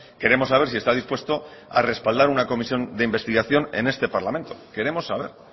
queremos saber si está dispuesto a respaldar una comisión de investigación en este parlamento queremos saber